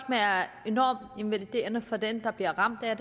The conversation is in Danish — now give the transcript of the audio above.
enormt invaliderende for den der bliver ramt af